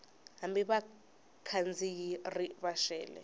hambi vakhandziyi ri va xele